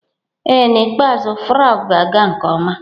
Ee n'ikpeazụ Faruq ga-aga nke ọma.